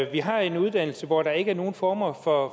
vi har en uddannelse hvor der ikke er nogen former for